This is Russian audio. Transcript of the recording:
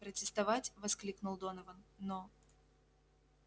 протестовать воскликнул донован но